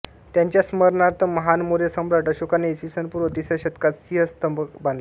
त्याच्या स्मरणार्थ महान मौर्य सम्राट अशोकाने ई स पूर्व तिसऱ्या शतकात सिंह स्तंभ बांधला